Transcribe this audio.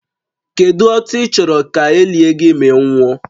Kedu otu ị chọrọ ka e lie gị ma ị nwụọ?